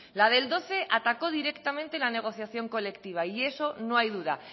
la del doce atacó directamente la negociación colectiva y eso no hay duda